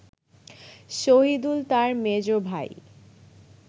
শহিদুল তার মেজ ভাই